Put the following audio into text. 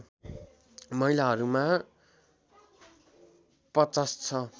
महिलाहरूमा ५० छ